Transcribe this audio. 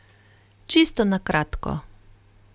Čisto na kratko.